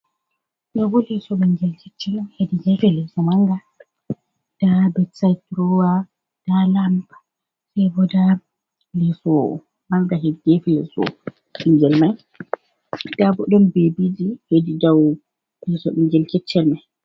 Ɗo bo leso bingel keccel on, hedi gefe leso manga, nɗa ɓe sait durowa nɗa lamb, sai bo nɗa leso manga hiɗɗe gefe leso bingel mai nɗa ɓo ɗon bebiji hedi dou bingel keccel mai.